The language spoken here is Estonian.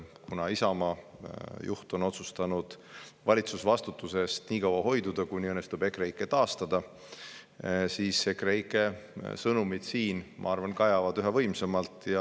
Kuna Isamaa juht on otsustanud valitsusvastutusest hoiduda nii kaua, kuni õnnestub EKREIKE taastada, siis EKREIKE sõnumid siin kajavad üha võimsamalt.